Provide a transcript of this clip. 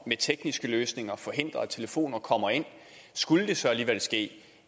med tekniske løsninger at forhindre at telefonerne kommer ind og skulle det så alligevel ske